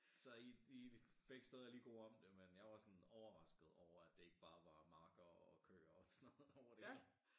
Så i de begge steder er lige gode om det men jeg var sådan overrasket over det ikke bar var marker og køer og sådan noget over det hele